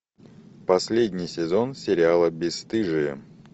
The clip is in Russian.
последний сезон сериала бесстыжие